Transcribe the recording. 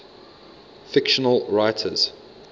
fictional writers